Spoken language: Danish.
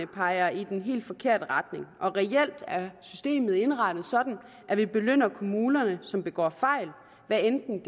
peger i den helt forkerte retning reelt er systemet indrettet sådan at vi belønner kommunerne som begår fejl hvad enten